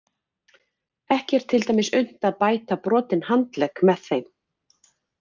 Ekki er til dæmis unnt að bæta brotinn handlegg með þeim.